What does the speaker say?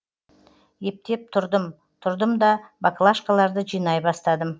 ептеп тұрдым тұрдымда баклашкаларды жинай бастадым